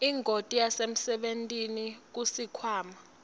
ingoti yasemsebentini kusikhwama